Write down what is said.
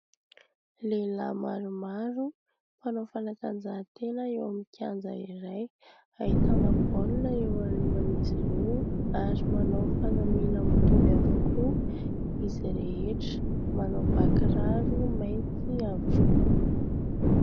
Lehilahy maromaro mpanao fanatanjahatena eo amin'ny kianja iray, ahitana baolina eo anolohan'izy ireo ary manao fanamina mitovy avokoa izy rehetra, manao bà kiraro mainty avokoa.